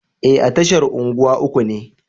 E, a tashar unguwa uku ne.